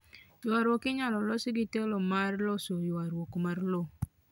Ywaruok inyalo los gi telo mar loso ywaruok mar lowo